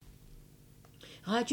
Radio 4